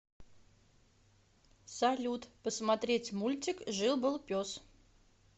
салют посмотреть мультик жил был пес